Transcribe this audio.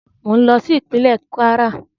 Mò ń lọ sí ìpínlẹ́ Kwara